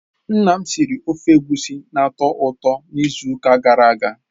Nna m siri ofe Egusi na-atọ ụtọ n'izu ụka gara aga.